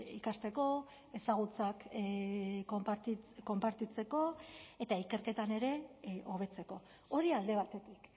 ikasteko ezagutzak konpartitzeko eta ikerketan ere hobetzeko hori alde batetik